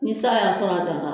Ni san y'a sɔrɔ a